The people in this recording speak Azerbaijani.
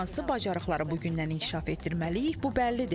Amma hansı bacarıqları bu gündən inkişaf etdirməliyik, bu bəllidir.